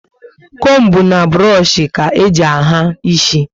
Combu na burush ka eji ahà isi